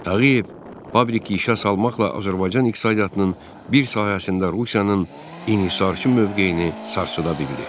Tağıyev fabriki işə salmaqla Azərbaycan iqtisadiyyatının bir sahəsində Rusiyanın inhisarçı mövqeyini sarsıda bildi.